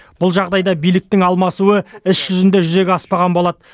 бұл жағдайда биліктің алмасуы іс жүзінде жүзеге аспаған болады